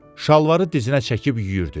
Şalvarı dizinə çəkib yüyürdü.